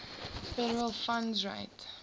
federal funds rate